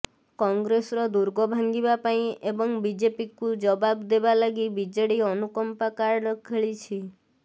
କଂଗ୍ରେସର ଦୁର୍ଗ ଭାଙ୍ଗିବା ପାଇଁ ଏବଂ ବିଜେପିକୁ ଜବାବ ଦେବା ଲାଗି ବିଜେଡି ଅନୁକମ୍ପା କାର୍ଡ ଖେଳିଛି